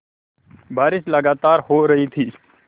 बारिश लगातार हो रही थी